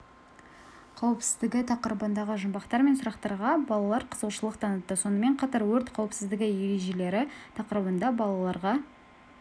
қауіпсіздігі тақырыбындағы жұмбақтар мен сұрақтарға балалар қызығушылық танытты сонымен қатар өрт қауіпсіздігі ережелері тақырыбында балаларға